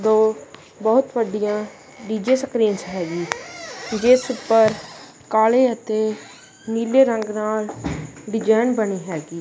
ਦੋ ਬਹੁਤ ਵੱਡੀਆਂ ਡੀ_ਜੇ ਸਕ੍ਰੀਨਸ ਹੈਗੀਂ ਜਿਸ ਉੱਪਰ ਕਾਲੇ ਅਤੇ ਨੀਲੇ ਰੰਗ ਨਾਲ ਡਿਜ਼ਾਈਨ ਬਨੀ ਹੈਗੀ।